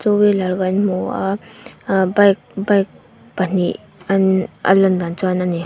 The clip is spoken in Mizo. two wheeler kan hmu a ahh bike bike pahnih an a lan dan chuan a ni.